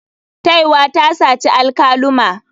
Taiwa ta saci alkaluma.